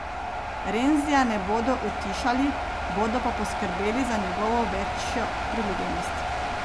Renzija ne bodo utišali, bodo pa poskrbeli za njegovo večjo priljubljenost.